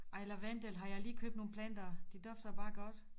Ej lavendel har jeg lige købt nogle planter de dufter bare godt